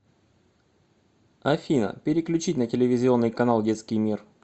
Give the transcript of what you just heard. афина переключить на телевизионный канал детский мир